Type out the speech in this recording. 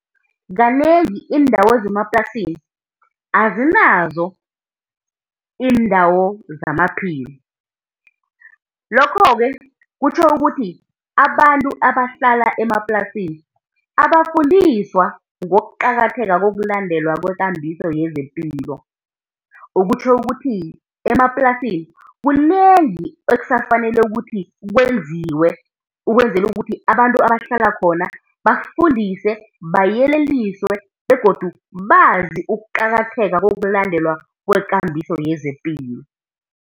Kanengi iindawo zemaplasini azinazo iindawo zamaphilo, lokho-ke kutjho ukuthi abantu abahlala emaplasini abafundiswa ngokuqakatheka kokulandelwa kwekambiso yezepilo. Okutjho ukuthi emaplasini kunengi ekusafanele ukuthi kwenziwe, ukwenzela ukuthi abantu abahlala khona bafundiswe, bayeleliswe, begodu bazi ukuqakatheka kokulandelwa kwekambiso yezepilo.